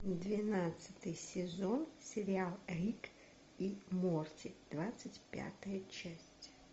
двенадцатый сезон сериал рик и морти двадцать пятая часть